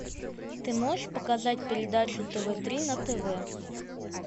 ты можешь показать передачу тв три на тв